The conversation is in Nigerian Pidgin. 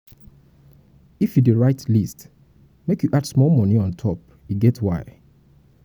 if you dey write list make you add small moni on top e get why.